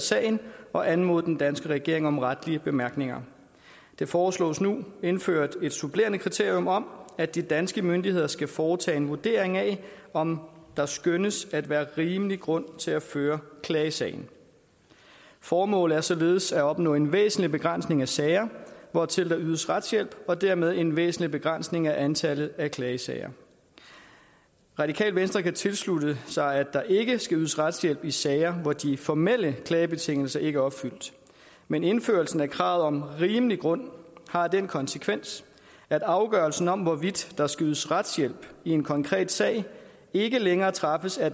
sagen og anmodet den danske regering om retlige bemærkninger der foreslås nu indført et supplerende kriterium om at de danske myndigheder skal foretage en vurdering af om der skønnes at være rimelig grund til at føre klagesagen formålet er således at opnå en væsentlig begrænsning af sager hvortil der ydes retshjælp og dermed en væsentlig begrænsning af antallet af klagesager radikale venstre kan tilslutte sig at der ikke skal ydes retshjælp i sager hvor de formelle klagebetingelser ikke er opfyldt men indførelsen af kravet om rimelig grund har den konsekvens at afgørelsen om hvorvidt der skal ydes retshjælp i en konkret sag ikke længere træffes af